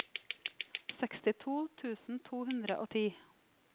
sekstito tusen to hundre og ti